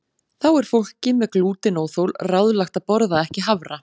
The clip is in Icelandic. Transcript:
Þá er fólki með glútenóþol ráðlagt að borða ekki hafra.